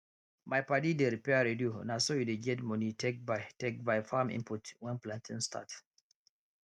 my padi dey repair radio na so e dey get money take buy take buy farm input when planting start